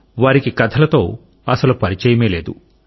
అంటే వారికి కథలతో అసలు పరిచయమే లేదు